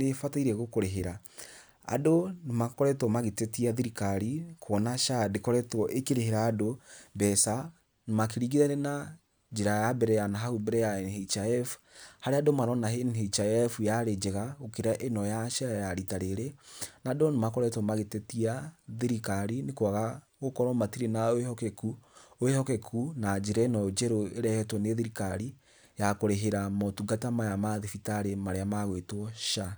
nī ībatairie gukurīhīra. Andu nī makoretwo magītetia thirikari nī kuona SHA ndīkoretwo īkīrīhīra andu mbeca, makīringithania na njīra ya mbere ya nahau mbere ya NHIF, harīa andu marona NHIF yaarī njega gukīra īno ya SHA ya rita rīrīī na andu nī makoretwo magītetia thirikari nī kuaga gukorwo matirī na wīhokeku na njīra īno njeru īrehetwo nī thirikari ya kurīhīra motungata maya ma thibitarī marīa magwītwo SHA.